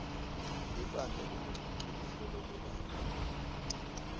libandla lengcocoluhlolo lebantfu